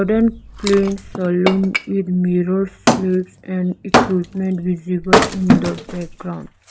wooden cleaned saloon with mirrors sleeves and equipments visible in the background.